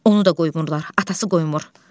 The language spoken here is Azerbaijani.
Onu da qoymurlar, atası qoymur.